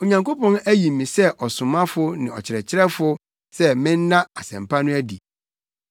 Onyankopɔn ayi me sɛ ɔsomafo ne ɔkyerɛkyerɛfo sɛ menna Asɛmpa no adi.